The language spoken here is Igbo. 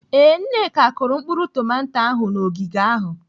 Ee, Nneka kụrụ mkpụrụ tomato ahụ n'ogige ahụ.